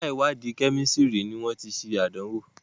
yàrá iwadi Kẹ́mísìrì ní wón tí ṣe Àdánwò.